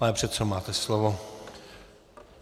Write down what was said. Pane předsedo, máte slovo.